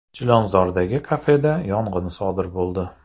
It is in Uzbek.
Chilonzordagi kafeda yong‘in sodir bo‘ldi.